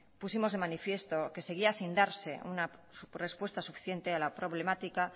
pusimos de manifiesto que seguía sin darse una respuesta suficiente a la problemática